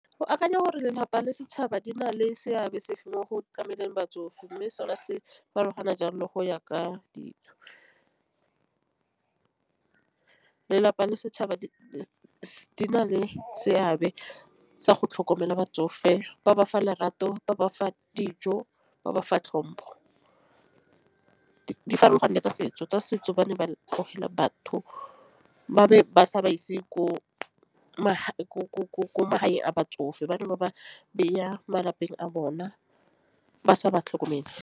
Go akanya gore lelapa le setšhaba di na le seabe sefe mo go tlameleng batsofe mme sona se farologana jalo le go ya ka dijo. Lelapa le setšhaba di na le seabe sa go tlhokomela batsofe ba ba fa lerato ba bafa dijo ba ba fa tlhompo. Di farologane tsa setso ba ne ba tlogela batho ba be ba sa ba ise ko magaeng a batsofe. Bane ba ba beya malapeng a bona ba sa ba tlhokomele.